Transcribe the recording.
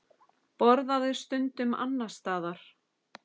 Borðuðu stundum annars staðar.